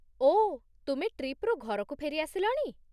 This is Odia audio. ଓଃ, ତୁମେ ଟ୍ରିପ୍‌ରୁ ଘରକୁ ଫେରିଆସିଲଣି?